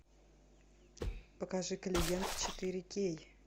покажи клиент четыре кей